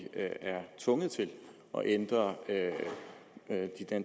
tvunget til at ændre